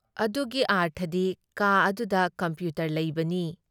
ꯑꯗꯨꯒꯤ ꯑꯥꯔꯊꯗꯤ ꯀꯥ ꯑꯗꯨꯗ ꯀꯝꯄ꯭ꯌꯨꯇꯔ ꯂꯩꯕꯅꯤ ꯫